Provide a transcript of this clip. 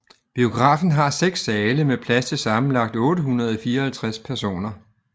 Biografen har seks sale med plads til sammenlagt 854 personer